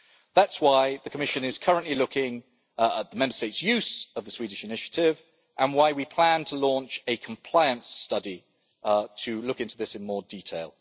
That is why the Commission is currently looking at the Member States' use of the Swedish initiative and why we plan to launch a compliance study to look into this in more detail.